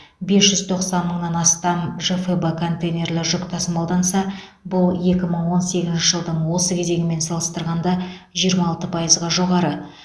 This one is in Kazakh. бес жүз тоқсан мыңнан астам жфб контейнерлі жүк тасымалданса бұл екі мың он сегізінші жылдың осы кезеңімен салыстырғанда жиырма алты пайызға жоғары